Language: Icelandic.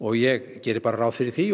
ég geri bara ráð fyrir því